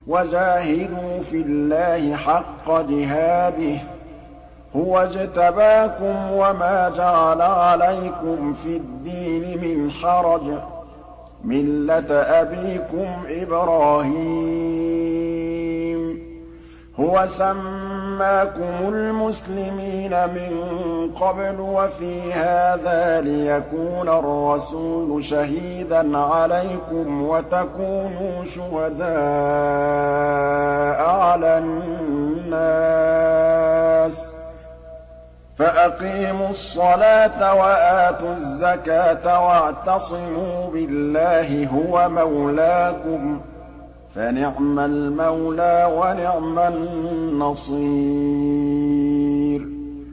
وَجَاهِدُوا فِي اللَّهِ حَقَّ جِهَادِهِ ۚ هُوَ اجْتَبَاكُمْ وَمَا جَعَلَ عَلَيْكُمْ فِي الدِّينِ مِنْ حَرَجٍ ۚ مِّلَّةَ أَبِيكُمْ إِبْرَاهِيمَ ۚ هُوَ سَمَّاكُمُ الْمُسْلِمِينَ مِن قَبْلُ وَفِي هَٰذَا لِيَكُونَ الرَّسُولُ شَهِيدًا عَلَيْكُمْ وَتَكُونُوا شُهَدَاءَ عَلَى النَّاسِ ۚ فَأَقِيمُوا الصَّلَاةَ وَآتُوا الزَّكَاةَ وَاعْتَصِمُوا بِاللَّهِ هُوَ مَوْلَاكُمْ ۖ فَنِعْمَ الْمَوْلَىٰ وَنِعْمَ النَّصِيرُ